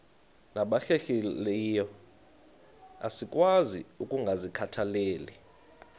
nabahlehliyo asikwazi ukungazikhathaieli